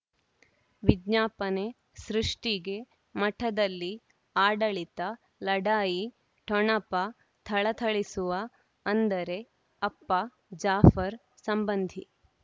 ವಿಜ್ಞಾಪನೆ ಸೃಷ್ಟಿಗೆ ಮಠದಲ್ಲಿ ಆಡಳಿತ ಲಢಾಯಿ ಠೊಣಪ ಥಳಥಳಿಸುವ ಅಂದರೆ ಅಪ್ಪ ಜಾಫರ್ ಸಂಬಂಧಿ